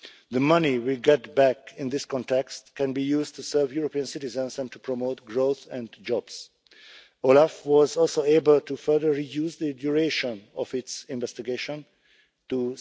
The money we get back in this context can be used to serve European citizens and to promote growth and jobs. OLAF was also able to further reduce the duration of its investigation to